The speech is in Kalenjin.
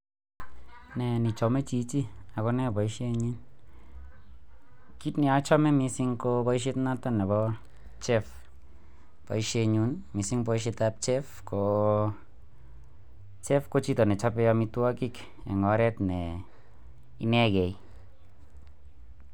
Nee nechome chichi ak konee boishoni, kiit neochome mising ko boishet nooton nebo chef, boishenyun mising boishetab chef ko cef ko chito nechobe amitwokik en oreet ne inekei.